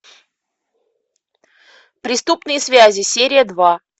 преступные связи серия два